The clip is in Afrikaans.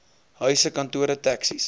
huise kantore taxis